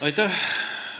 Aitäh!